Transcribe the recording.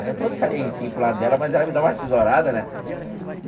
Aí eu todo salientinho para o lado dela, mas ela me dá uma tesourada, né?